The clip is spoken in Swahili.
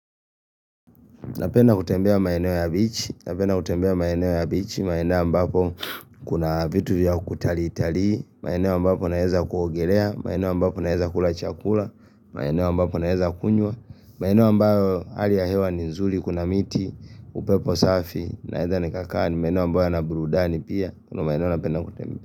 Napena kutembea maenewa ya bichi, maenewa ambapo kuna vitu ya kutalii talii, maeneo ambapo naeza kuogelea, maenewa mbapo naeza kula chakula, maeneo mbapo naeza kunywa, maeneo mbao hali ya hewa ni nzuli, kuna miti, upepo safi, naedha ni kakani, maenewa mbo ya nabrudani pia, kuna maenewa napena kutembea.